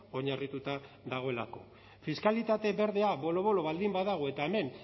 oinarrituta dagoelako fiskalitate berdea bolo bolo baldin badago eta hemen